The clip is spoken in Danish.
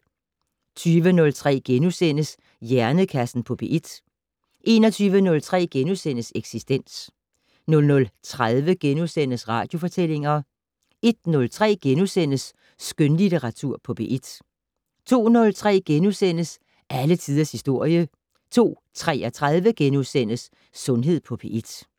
20:03: Hjernekassen på P1 * 21:03: Eksistens * 00:30: Radiofortællinger * 01:03: Skønlitteratur på P1 * 02:03: Alle tiders historie * 02:33: Sundhed på P1 *